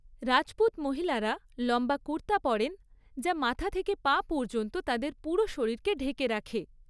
রাজপুত মহিলারা লম্বা কুর্তা পরেন, যা মাথা থেকে পা পর্যন্ত তাদের পুরো শরীরকে ঢেকে রাখে।